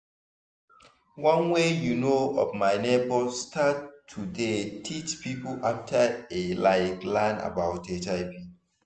one wey u know of my neighbors start to dey teach people after e like learn about hiv